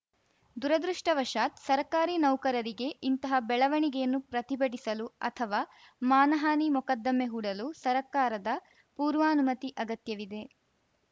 ದುರದೃಷ್ಟವಶಾತ್‌ ಸರ್ಕಾರಿ ನೌಕರರಿಗೆ ಇಂತಹಾ ಬೆಳವಣಿಗೆಯನ್ನು ಪ್ರತಿಭಟಿಸಲು ಅಥವಾ ಮಾನಹಾನಿ ಮೊಕದ್ದಮೆ ಹೂಡಲು ಸರ್ಕಾರದ ಪೂರ್ವಾನುಮತಿ ಅಗತ್ಯವಿದೆ